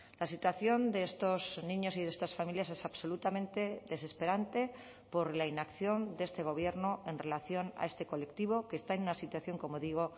la situación de estos niños y de estas familias es absolutamente desesperante por la inacción de este gobierno en relación a este colectivo que está en una situación como digo